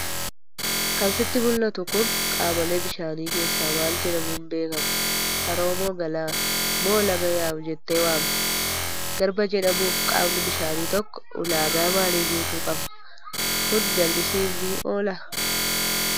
Kan sitti mul'atu kun qaamolee bishaanii keessaa maal jedhamuun beekama? Haroo moo galaana? Moo laga yaa'u jettee waamta? Garba jedhamuuf qaamni bishaanii tokko ulaagaa maalii guutuu qaba? Kun jallisiif ni oolaa?